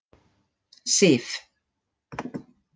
Sif